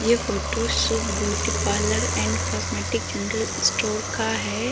ये photo Shubh beauty parlour and cosmetic general store का है।